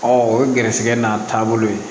o ye garisɛgɛ n'a taabolo ye